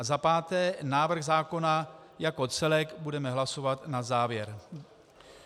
A za páté návrh zákona jako celek budeme hlasovat na závěr.